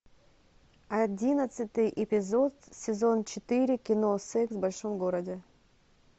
одиннадцатый эпизод сезон четыре кино секс в большом городе